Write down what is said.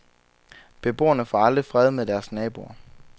Beboerne aldrig får fred med deres naboer.